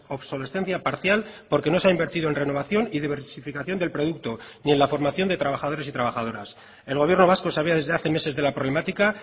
obsolescencia parcial porque no se ha invertido en renovación y diversificación del producto ni en la formación de trabajadores y trabajadoras el gobierno vasco sabía desde hace meses de la problemática